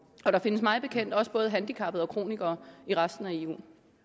og der findes mig bekendt også både handicappede og kronikere i resten af eu